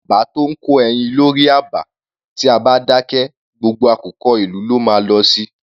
Jàmbá tó ńkó ẹyin lórí àba, tí a bá dákẹ, gbogbo àkùkọ ìlú ló má a lọ si.